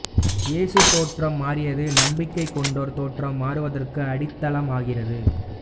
இயேசு தோற்றம் மாறியது நம்பிக்கை கொண்டோர் தோற்றம் மாறுவதற்கு அடித்தளம் ஆகிறது